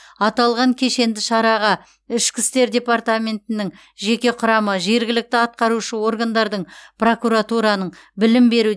аталған кешенді шараға пд нің жеке құрамы жергілікті атқарушы органдардың прокуратураның білім беру